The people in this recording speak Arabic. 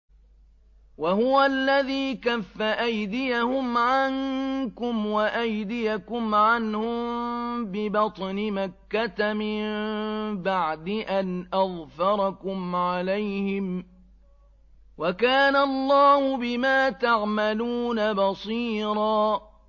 وَهُوَ الَّذِي كَفَّ أَيْدِيَهُمْ عَنكُمْ وَأَيْدِيَكُمْ عَنْهُم بِبَطْنِ مَكَّةَ مِن بَعْدِ أَنْ أَظْفَرَكُمْ عَلَيْهِمْ ۚ وَكَانَ اللَّهُ بِمَا تَعْمَلُونَ بَصِيرًا